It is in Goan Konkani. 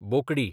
बोकडी